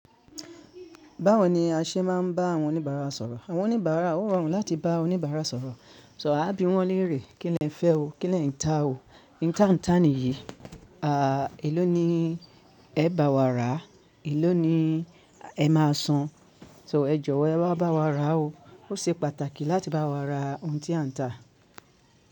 Báwo ni a ṣe máa ń bá àwọn oníbàárà sọ̀rọ̀? Àwọn oníbàárà ó rọrùn láti bá oníbàárà sọ̀rọ̀. So àá bí wọ́n léèrè, kí lẹ fẹ́ o? Kí lẹ̀ ń tà o? N táà ń tà nìyí, èló ni ẹẹ́ bá wa ràá, èló ni ẹ máa san? So ẹ jọ̀wọ́ ẹ wá bá wa ràá o. Ó ṣe pàtàkì láti bá wa ra ohun tí à ń tà.